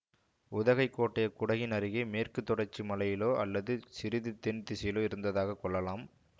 உதகைக் கோட்டை குடகின் அருகே மேற்கு தொடர்ச்சி மலையிலோ அல்லது சிறிது தென் திசையிலோ இருந்ததாக கொள்ளலாம்